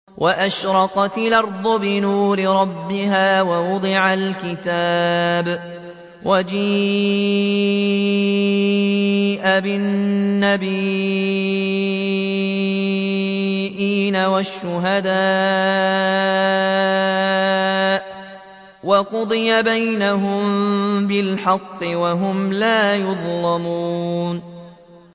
وَأَشْرَقَتِ الْأَرْضُ بِنُورِ رَبِّهَا وَوُضِعَ الْكِتَابُ وَجِيءَ بِالنَّبِيِّينَ وَالشُّهَدَاءِ وَقُضِيَ بَيْنَهُم بِالْحَقِّ وَهُمْ لَا يُظْلَمُونَ